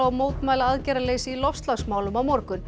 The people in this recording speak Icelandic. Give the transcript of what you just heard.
og mótmæla aðgerðaleysi í loftslagsmálum á morgun